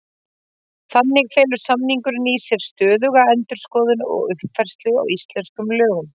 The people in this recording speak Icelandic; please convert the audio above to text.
Þannig felur samningurinn í sér stöðuga endurskoðun og uppfærslu á íslenskum lögum.